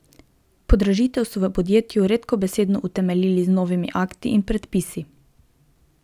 Podražitev so v podjetju redkobesedno utemeljili z novimi akti in predpisi.